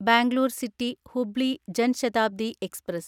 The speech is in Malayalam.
Bangalore city Hubli Jan Shatabdi express